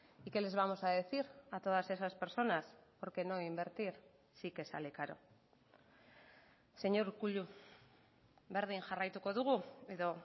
y qué les vamos a decir a todas esas personas porque no invertir sí que sale caro señor urkullu berdin jarraituko dugu edo